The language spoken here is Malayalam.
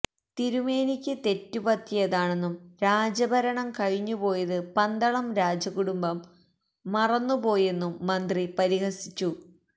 തിരുമേനിക്ക് തെറ്റുപറ്റിയതാണെന്നും രാജഭരണം കഴിഞ്ഞുപോയത് പന്തളം രാജകുടുംബം മറന്നു പോയെന്നും മന്ത്രി പരിഹസിച്ചു